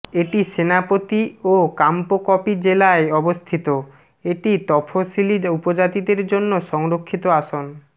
এটি সেনাপতি ও কাংপোকপি জেলায় অবস্থিত এটি তফশিলি উপজাতিদের জন্য সংরক্ষিত আসন